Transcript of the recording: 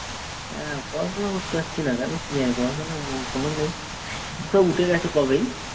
হ্যাঁ পড়াশুনা করতে পারছি না কেন কি জানি পড়াশোনায় মন টনও নেই। সে উঠে গেছে কবেই।